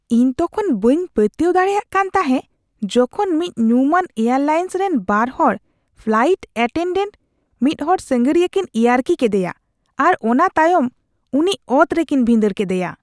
ᱤᱧ ᱛᱚᱠᱷᱚᱱ ᱵᱟᱹᱧ ᱯᱟᱹᱛᱭᱟᱹᱣ ᱫᱟᱲᱮᱭᱟᱜ ᱠᱟᱱ ᱛᱟᱦᱮᱸᱜ ᱡᱠᱷᱚᱱ ᱢᱤᱫ ᱧᱩᱢᱟᱱ ᱮᱨᱟᱞᱟᱭᱮᱱᱥ ᱨᱮᱱ ᱵᱟᱨ ᱦᱚᱲ ᱯᱷᱞᱟᱭᱤᱴ ᱮᱴᱮᱱᱰᱮᱱᱴ ᱢᱤᱫ ᱦᱚᱲ ᱥᱟᱸᱜᱷᱟᱹᱨᱤᱭᱟᱹ ᱠᱤᱱ ᱤᱭᱟᱹᱨᱠᱤ ᱠᱮᱫᱮᱭᱟ ᱟᱨ ᱚᱱᱟ ᱛᱟᱭᱚᱢ ᱩᱱᱤ ᱚᱛᱨᱮᱠᱤᱱ ᱵᱷᱤᱸᱰᱟᱹᱲ ᱠᱮᱫᱮᱭᱟ ᱾